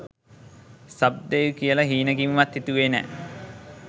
sub දෙයි කියලා හීනෙකින්වත් හිතුවේ නෑ